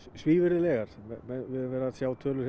svívirðilegar við höfum verið að sjá tölur